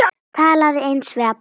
Talaði eins við alla.